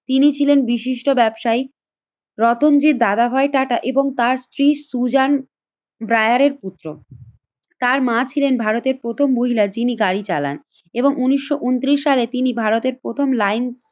তিনি ছিলেন বিশিষ্ট ব্যবসায়ী রতনজির দাদাভাই টাটা এবং তার স্ত্রী সুজন ব্রায়ারের পুত্র। তার মা ছিলেন ভারতের প্রথম মহিলা যিনি গাড়ি চালান এবং উন্নিশশো ঊনত্রিশ সালে তিনি ভারতের প্রথম লাইন